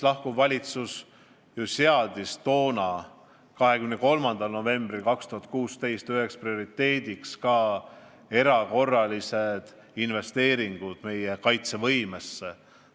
Lahkuv valitsus seadis 23. novembril 2016 üheks prioriteediks ka erakorralised investeeringud meie kaitsevõimesse.